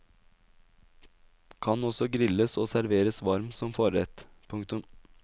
Kan også grilles og serveres varm som forrett. punktum